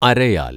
അരയാൽ